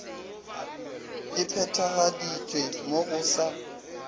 e phethagaditšwe mo go sa